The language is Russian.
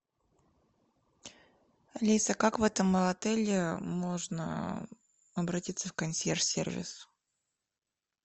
алиса как в этом отеле можно обратиться в консьерж сервис